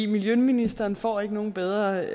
miljøministeren får ikke nogen bedre